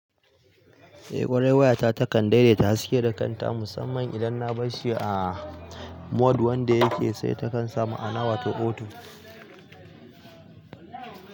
Eh ƙwarai wayata takan daidaita haske da kanta musamman idan na barshi a mode wanda yake sai takan sa maana wato auto.